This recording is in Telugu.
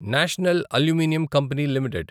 national aluminium company limited